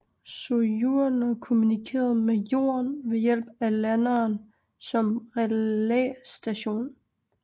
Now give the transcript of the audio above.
Sojourner kommunikerede med Jorden ved hjælp af landeren som relæstation